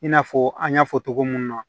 I n'a fɔ an y'a fɔ togo mun na